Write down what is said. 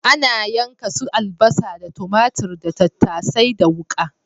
Ana yanka su albasa da tumatur da tattasai da wuƙa.